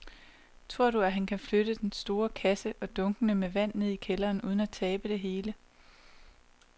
Tror du, at han kan flytte den store kasse og dunkene med vand ned i kælderen uden at tabe det hele?